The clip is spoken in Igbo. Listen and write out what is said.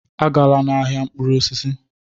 Agala n'ahịa mkpụrụ osisi!